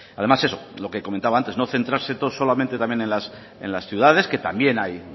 además eso lo que comentaba antes no centrarse solamente en las ciudades que también hay